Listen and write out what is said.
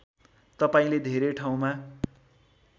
तपाईँले धेरै ठाउँमा